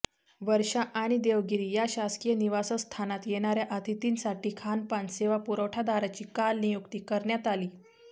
वर्षा आणि देवगिरी या शासकीय निवासस्थानात येणाऱ्या अतिथींसाठी खानपान सेवा पुरवठादाराची काल नियुक्ती करण्यात आली